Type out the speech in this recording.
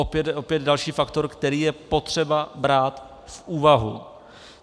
Opět další faktor, který je třeba brát v úvahu.